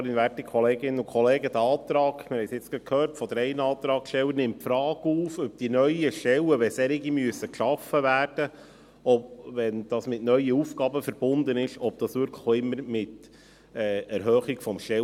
Wie wir gerade von drei Antragstellern gehört haben, nimmt dieser Antrag die Frage auf, ob es wirklich immer mit einer Erhöhung des Stellenetats verbunden ist, wenn wegen neuer Aufgaben neue Stellen geschaffen werden müssen.